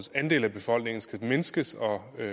andel af befolkningen skulle mindskes og at